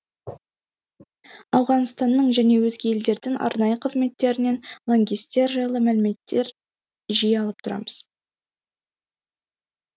ауғанстанның және өзге елдердің арнайы қызметтерінен лаңкестер жайлы мәліметтер жиі алып тұрамыз